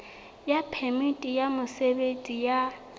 ya phemiti ya mosebetsi ya